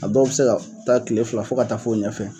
A dɔw be se ka taa kile fila fɔ ka taa f'o ɲɛfɛ